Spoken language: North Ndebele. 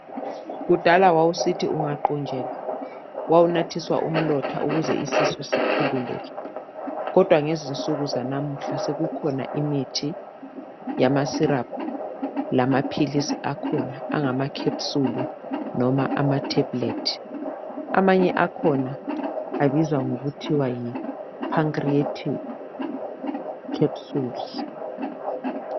kudala wawusithi ungaqunjelwa wawunatha umlotha ukuze isisu sikhululeke kodwa ngezinsuku zanamuhla sekukhona imithi yama syrup lama lama philisi akhona angama capsule noma ama tablet amanye akhona amanye akhona abizwa ngokuthiwa yi Pancreatin Capsules